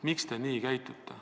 Miks te nii käitute?